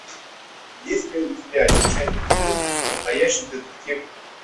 есть ли у тебя часть семь настоящий детектив